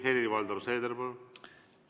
Helir-Valdor Seeder, palun!